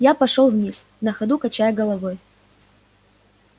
я пошёл вниз на ходу качая головой